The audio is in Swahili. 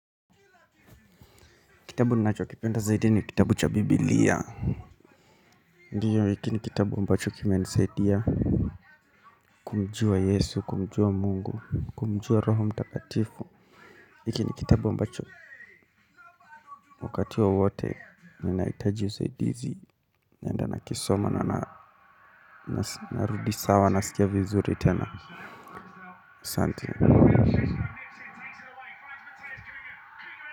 Kitabu ninachokipenda zaidi ni kitabu cha bibilia. Ndio hiki ni kitabu ambacho kimenisaidia. Kumjua yesu, kumjua mungu, kumjua roho mtakatifu. Hiki ni kitabu ambacho wakati wowote ninahitaji usaidizi. Naenda nakisoma na narudi sawa nasikia vizuri tena asante.